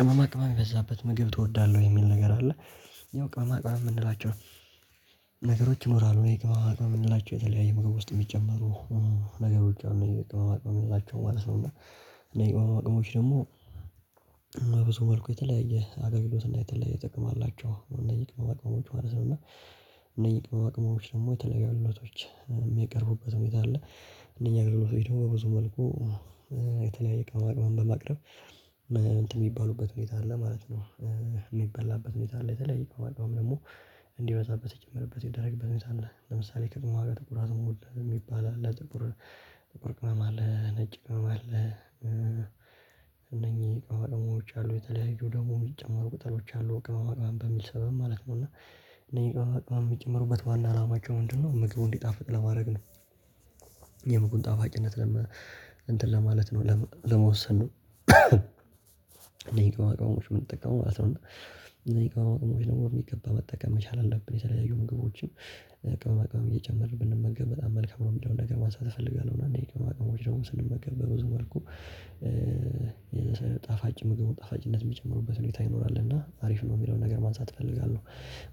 ቅመማ ቅመም የበዛበት ምግብ ትወዳለህ የሚል ነገር አለ። ያው ቅመማቅመም ምንላቸው ነገሮች ይኖራሉ የቅመማቅመም ምንላቸው የተለያየ ምግብ ውስጥ ሚጨመሩ። ነገሮች አሉ ቅመማ ምንላቸው ማለት ነው። እና እነይህ ቅመማ ቅመሞች ደሞ በብዙ መልኩ የተለያየ አገልግሎት እና የተለያየ ጥቅም አላቸው። እነዚህ ቅመማ ቅመሞች ማለት ነው። እና እነኚህ ቅመማ ቅመሞች ደሞ የተለያዩ አገልግሎቶች ሚቀርቡበት ሁኔታ አለ። እነኛ አገልግሎት በ ብዙ መልኩ የተለያየ ቅመማቅመምን በማቅረብ እንትን ሚባሉበት ሁኔታ አለ ማለት ነው። ሚባላበት ሁኔታ አለ የተለየ ከሆነ ደግሞ እንዲበዛበት ይጨምርበት ይደረግበት ሁኔታ አለ። ለምሳሌ ከጉማ ጋር ጥቁር አዝሙድ ሚባል አለ ጥቁር ቅመም አለ ነጭ ቅመም አለ። እነኚህ ቅመማ ቅመሞች አሉ የተለያዩ ደሞ ሚጨመሩ ቅጠሎች አሉ ቅመማ ቅመም በሚል ሰበብ ማለት ነው። እና እነኚህ ቅመማ ቅመም ሚጨምሩበት ዋና አላማቸው ምንድነው? ምግቡን እንዲጣፍጥ ለማረግ ነው። የምግቡን ጣፋጭነት ለመ እንትን ለማለት ነው ለመወሰን። እነኚህ ቅመማቅመሞች ምንጠቀመው ማለት ነው እና እነኚህ ቅመማቅመሞች በሚገባ መጠቀም መቻል አለብን። የተለያዩ ምግቦችን ቅመማቅመም እየጨመርን ብንመገብ በጣም መልካም ነው ሚለውን ነገር ማንሳት እፈልጋለሁ። እና እነይ ቅመማቅመሞች ደግሞ ስንመገብ በብዙ መልኩ የጣፋጭ ምግብ ጣፋጭነት ሚጨምሩበት ሁኔታ ይኖራል እና አሪፍ ነው ሚለውን ነገር ማንሳት እፈልጋለሁ።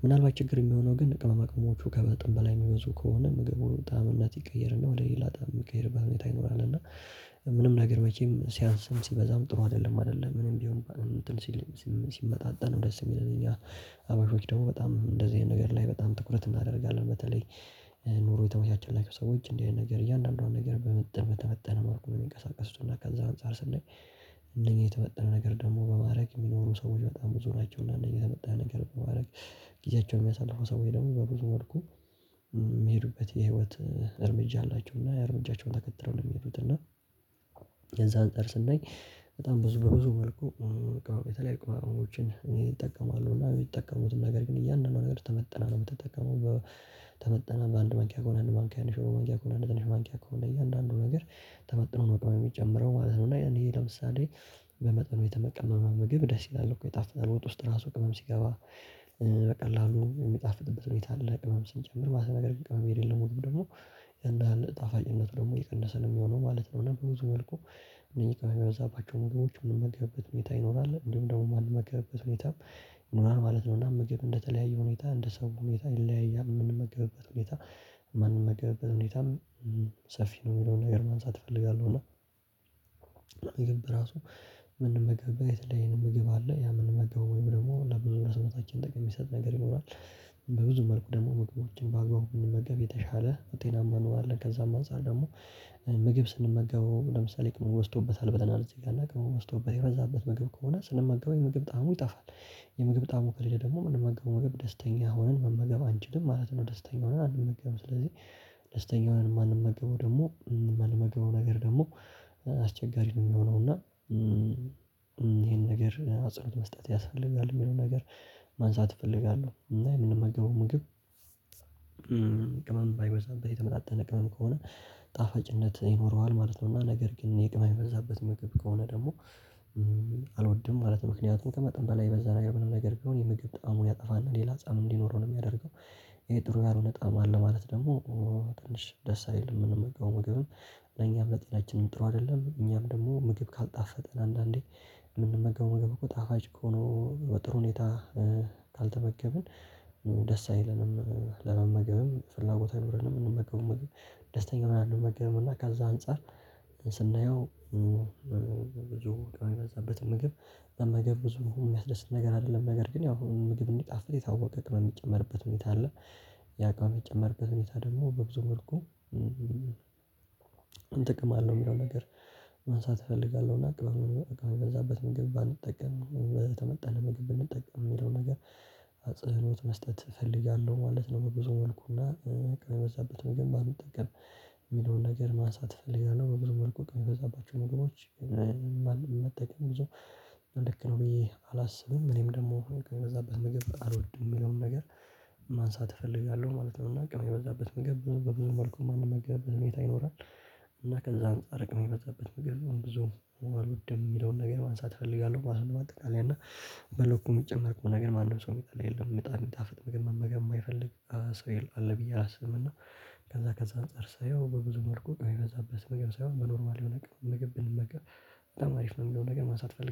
ምናልባት ችግር ሚሆነው ግን ቅመማቅመሞቹ ከመጠን በላይ ሚበዙ ከሆነ ምግቡን ጣዕም እነት ይቀየርና ወደ ሌላ ጣም ሚቀየርበት ሁኔታ ይኖራልና። እና ምንም ነገር መቼም ሲያንስም ሲበዛም ጥሩ አደለም አደለ ምንም ቢሆን። ሲመጣጠን ደስ ሚለን እኛ ሀበሾች ደሞ በጣም እንደዚህ አይነት ነገር ላይ በጣም ትኩረት እናደርጋለን። በተለይ ኑሮ የተመቻቸላቸው ሰዎች እንዲህ አይነት ነገር እያንዳንዷን ነገር በመጠን በተመጠነ መልኩ ነው ሚንቀሳቀስትና ከዛ አንፃር ስናይ። እንደኛ የተመጠነ ነገር ደሞ በማረግ ሚኖሩ ሰዎች በጣም ብዙ ናቸው። እና እነኛ የተበጠረ ነገር በማረግ ጊዜያቸውን ሚያሳልፈው ሰወይ ደሞ በብዙ መልኩ ሚሄዱበት የሂወት እርምጃ አላቸው እና ያ እርምጃቸውን ተከትለው ነው ሚሄዱት። እና የዛን አጻር ስናይ በጣም ብዙ በብዙ መልኩ በቃ የተለያይ ቅመማ ቅመሞችን ይጠቀማሉ እና ሚጠቀሙትን ነገር ግን እያንዳንዱ ነገር ተመጥና ነው ምትጠቀመው። ተመጥና በአንድ ማንኪያ ከሆነ አንድ መንኪያ ከሆነ መንኪያ ከሆነ ትንሽ መንኪያ ከሆነ እያንዳንዱ ነገር ተመጥኖ ነው በጣም የሚጨምረው ማለት ነው። እና ይሄ ለምሳሌ በመጠኑ የተመ ቀመመ ምግብ ደስ ይላል እኮ የጣፍጣል ውጥ ራሱ ቅመም ሲገባ። በቀላሉ ሚጣፍጥበት ሁኔታ አለ ቅመም ስንጨምር ማለት ነው። ነገርግን ቅመም የለለው ምግብ ደግሞ አንዳንድ ጣፋጭነቱ ደሞ እየቀነሰ ነው ሚሆነው ማለት ነው። እና ቡብዙ መልኩ እነኚህ ቅመም የበዛባቸውን ምግቦች ምንመገበት ሁኔታ ይኖራል እንዲሁም ደሞ ማንመገበት ሁኔታም ይኖራል ማለት ነው። እና ምግብ እንደተለያየ ሁኔታ እንደ ሰው ሁኔታ ይለያያል ምንመገብበት ሁኔታ ማንመገበት ሁኔታም ሰፊ ነው ሚለውን ነገር ማንሳት እፈልጋለሁ እና። ምግብ በራሱ ምንመገብበት የተለየ ምግብ አለ ያ ምንመገበው ወይም ደሞ ለብዙ ሰውነታችን ጥቅም ሚሰጥ ነገር ይኖራል። በብዙ መልኩ ደሞ ምግቦችን በአግባቡ ብንመገብ የተሻለ ጤናማ እንሆናለን። ከዛም አንፃር ደሞ ምግብ ስንመገበው ለምሳሌ ቅመሙ በስቶበታል ብለናል እዚህ ጋ እና ቅመሙ በስቶበታል የበዛበት ምግብ ከሆነ ጣዕሙ ይጠፋል። የምግብ ጣዕሙ ከሌለ ደሞ ምንመገበው ምግብ ደስተኛ ሁነን መመገብ አንችልም ማለት ነው። ደስተኛ ሁነን አንመገብም ስለዚህ ደስተኛ ሆነን ማንመገበው ደሞ ማንመገበው ነገር ደሞ አስቸጋሪ ነው ሚሆነው እና እሄን ነገር አጽንኦት መስጠት ያሰፈልጋል ሚለው ነገር። ማንሳት እፈልጋለሁ እና የምንመገበው ምግብ ቅመም ባይበዛበት የተመጣጠነ ቅመም ከሆነ ጣፈጭነት ይኖረዋል ማለት ነው። እና ነገር ግን እሄ ቅመም የበዛበት ምግብ ከሆነ ደሞ አልወድም ማለት ነው። ምክንያቱም ቀመጠን በላይ የበዛ ነገር ምንም ነገር ቢሆን የምግብ ጣዕሙን ያጠፋና ሌላ ጣዕም እንዲኖረው ነው ሚያደርገው። እሄ ጥሩ ያልሆነ ጣአም አለው ማለት ደሞ ትንሽ ደስ አይለም ምንመገበው ምግብም ለኛም ለጤናችንም ጥሩ አደለም። እኛም ደሞ ምግብ ካልጣፈጠን አንዳንዴ ምንመገበው ጣፋጭ ሆነ በጥሩ ሁኔታ ካልተመገብን ደስ አይለንም ለመመገብም ፍላጎት አይኖርም። ምንመገበው ምግብ ደስተኛ ሁነን አንመገብም እና ከዛ አንፃር ስናየው ብዙ ቅመም የበዛበት ምግብ መመገብ ብዙ ሚያስደስት ነገር አደለም። ነገር ግን ያው ምግብ እንዲጣፈጥ የታወቀ ቅመም ሚጨመርበት ሁኔታ አለ። ያ ቅመም ሚጨመርበት ሁኔታ ደሞ በብዙ መልኩ እንጥቅም አለን ሚለው ነገር ማንሳት እፈልጋለሁ። እና ቅመም የበዛበት ምግብ ባንጠቀም የተመጠነ ምግብ ብንጠቀም ሚለው ነገር አጽንኦት መስጠት እፈልጋለሁ ማለት ነው። በብዙ መልኩና ቅመም የበዛበት ምግብ ባንጠቀም ሚለውን ነገር ማንሳት እፈልጋለሁ። በብዙ መልኩ ቅመም የበዛባቸው ምግቦች መጠቀም ብዙ ልክ ነው ብዬ አላስብም። እኔም ደሞ ከበዛበት ምግብ አልወድም ምንም ነገር ማንሳት እፈልጋለሁ ማለት ነው። እና ቅመም የበዛበት መግብ በብዙ መልኩ ማንመገብበት ሁኔታ ይኖራል። እና ከዛ አንፃር ቅመም የበዛበት ምግብ ብዙ አልውድም ሚለውን ነገር ማንሳት እፈልጋለሁ። ማጠቃለያ እና በልኩ ሚጨመርበት ከሆነ ግን ማንም ሰው ሚጠላ የለም በጣም ሚጣፍጥ ምግብ ግን መመገብ ማይፈልግ ሰው የለም አለ ብዬ አላስብምና። ከዛ ከዛ አንፃር ሳየው በብዙ መልኩ ቅመም የበዛበት ምግብ ሳይሆን በኖርማል የሆነ ነገር በግብል መቅረብ በጣም አሪፍ ነው። የሚለው ነገር ማን ሳትፈልግ